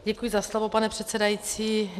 Děkuji za slovo, pane předsedající.